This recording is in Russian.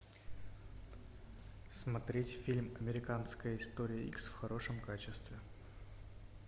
смотреть фильм американская история икс в хорошем качестве